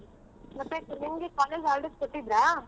ಮತ್ತೆ ನಿಮ್ಗೆ college holidays ಕೊಟ್ಟಿದ್ರಾ?